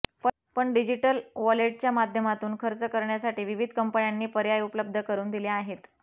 पण डिजीटल वॉलेटच्या माध्यमातून खर्च करण्यासाठी विविध कंपन्यांनी पर्याय उपलब्ध करुन दिले आहेत